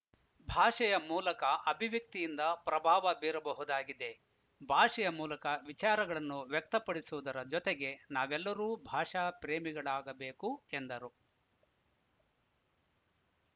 ಭಾಷೆಯ ಮೂಲಕ ಅಭಿವ್ಯಕ್ತಿಯಿಂದ ಪ್ರಭಾವ ಬೀರಬಹುದಾಗಿದೆ ಭಾಷೆಯ ಮೂಲಕ ವಿಚಾರಗಳನ್ನು ವ್ಯಕ್ತಪಡಿಸುವುದರ ಜೊತೆಗೆ ನಾವೆಲ್ಲರೂ ಭಾಷಾ ಪ್ರೇಮಿಗಳಾಗಬೇಕು ಎಂದರು